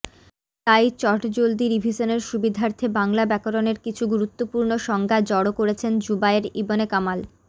তাই চটজলদি রিভিশনের সুবিধার্থে বাংলা ব্যাকরণের কিছু গুরুত্বপূর্ণ সংজ্ঞা জড়ো করেছেন জুবায়ের ইবনে কামাল